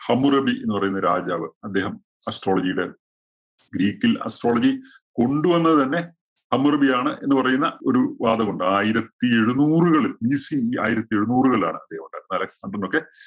Hammurabi എന്ന് പറയുന്ന രാജാവ് അദ്ദേഹം astrology യുടെ ഗ്രീക്കില്‍ astrology കൊണ്ടുവന്നത് തന്നെ ഹമ്മുറബി ആണ് എന്ന് പറയുന്ന ഒരു വാദം ഉണ്ട്. ആയിരത്തി എഴുനൂറുകളില്‍ BC ആയിരത്തി എഴുനൂറുകളിലാണ് അദ്ദേഹം